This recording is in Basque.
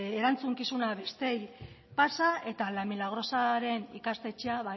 erantzukizuna besteei pasa eta la milagrosaren ikastetxea